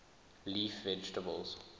leaf vegetables